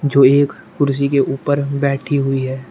जो एक कुर्सी के ऊपर बैठी हुई है।